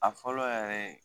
A fɔlɔ yɛrɛ ye.